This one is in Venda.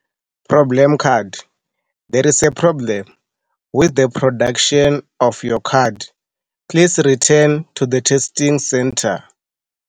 Problem card, there is a problem with the production of your card. Please return to the testing centre.